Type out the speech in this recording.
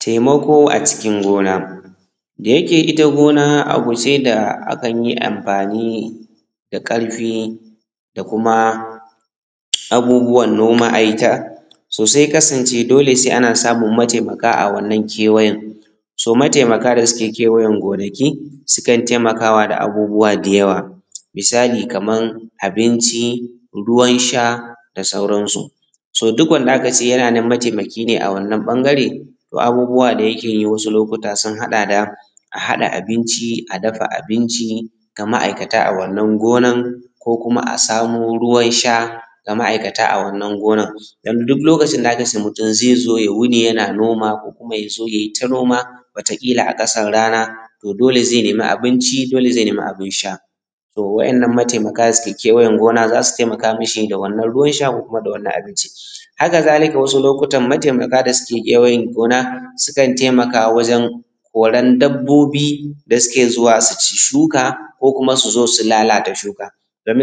Taimako a cikin gona Dayake ita gona abu ce da akan yi anfani da ƙarfii da kuma abubuwan noma. so sai ya kasaance dole sai ana samun mataimaka a wannan kewayen mataimaka da suke kewayen gonaki sukan taimakawa da abubuwa da yawa. Misali kamar, abinci, ruwan sha da sauransu. To duk wanda aka ce yana neman mataimaki ne a wannan ɓangare to abubuwa da yake yi wasu lokuta sun haɗa da, a haɗa abinci a dafa abinci ga ma’aikataa a wannan gonan ko kuma a samo ruwan sha ga ma’aikata a wannan gonar don duk lokacin da aka ce mutum zai zo ya wuni yana noma ko kuma ya zo yai ta noma wataƙila a ƙasan rana to dole zai nemi abinci zai neemi abin sha. To waɗannan mataimaka da suke kewajen gona za su taimaka mashi da wannan ruwan sha ko kuma da wannan abincin. hakazalika wasu lokutan mataimaka da suke kewayen gona sukan taimaka wajen koran dabbobi da suke zuwa su ci shuka ko kuma su zo su lalata shukan